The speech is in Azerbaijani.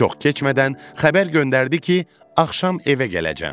Çox keçmədən xəbər göndərdi ki, axşam evə gələcəm.